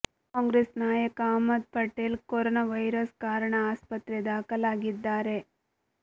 ಕಾಂಗ್ರೆಸ್ ನಾಯಕ Ahmed Patel corona virus ಕಾರಣ ಆಸ್ಪತ್ರೆ ದಾಖಲಾಗಿದ್ದಾರೆ